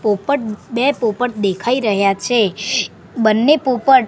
પોપટ બે પોપટ દેખાય રહ્યા છે બંને પોપટ--